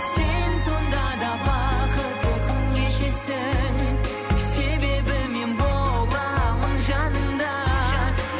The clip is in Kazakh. сен сонда да бақытты күн кешесің себебі мен боламын жаныңда